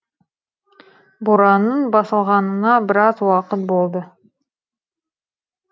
боранның басылғанына біраз уақыт болды